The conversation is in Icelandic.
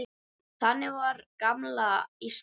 Þannig var gamla Ísland.